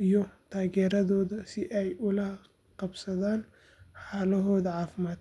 iyo taageeradooda si ay ula qabsadaan xaaladdooda caafimaad.